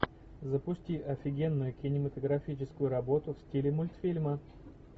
запусти офигенную кинематографическую работу в стиле мультфильма